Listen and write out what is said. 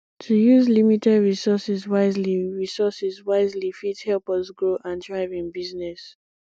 to use limited resources wisely resources wisely fit help us grow and thrive in business